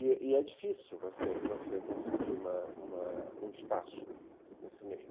E é difícil você conseguir uma uma um espaço nesse meio.